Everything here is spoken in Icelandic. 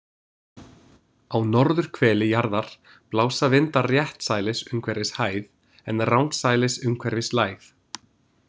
Á norðurhveli jarðar blása vindar réttsælis umhverfis hæð en rangsælis umhverfis lægð.